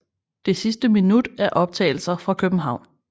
Det sidste minut er optagelser fra København